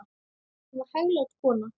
Hún var hæglát kona.